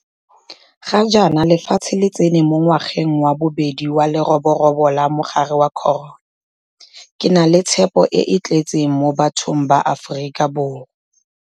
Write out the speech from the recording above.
Ga jaana lefatshe le tsena mo ngwageng wa bobedi wa leroborobo la mogare wa corona. Ke na le tshepo e e tletseng mo bathong ba Aforika Borwa.